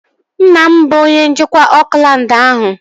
Nna m bụ onye njikwa Oakland ahụ